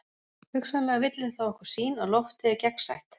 Hugsanlega villir það okkur sýn að loftið er gegnsætt.